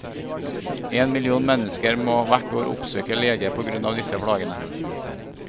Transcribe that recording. En million mennesker må hvert år oppsøke lege på grunn av disse plagene.